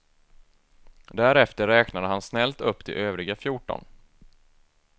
Därefter räknade han snällt upp de övriga fjorton.